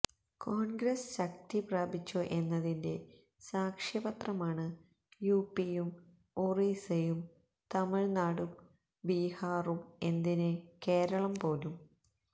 കോണ്ഗ്രസ് ശക്തി പ്രാപിച്ചോ എന്നതിന്റെ സാക്ഷ്യപത്രമാണ് യുപിയും ഒറീസയും തമിഴ്നാടും ബീഹാറും എന്തിന് കേരളം പോലും